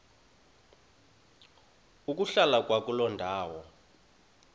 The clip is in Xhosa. ukuhlala kwakuloo ndawo